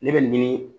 Ne bɛ ɲini